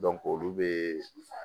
olu be